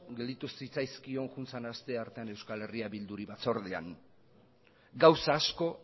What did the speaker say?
gelditu zitzaizkion joan den astean euskal herria bilduri batzordean gauza asko